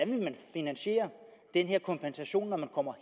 finansiere den her kompensation når man kommer